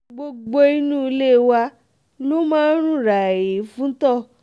gbogbo inú ilé wa ló mà rún ràì fún itọ́